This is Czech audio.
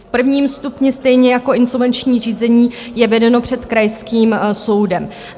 V prvním stupni, stejně jako insolvenční řízení, je vedeno před krajským soudem.